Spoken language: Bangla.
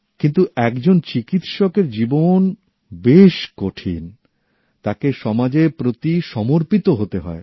কিন্তু একজন চিকিত্সকের জীবন বেশ কঠিন তাকে সমাজের প্রতি সমর্পিত হতে হয়